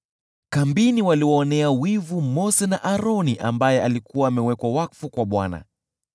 Kambini walimwonea wivu Mose, na pia Aroni aliyekuwa amewekwa wakfu kwa Bwana .